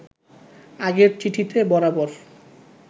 আগের চিঠিতে বরাবর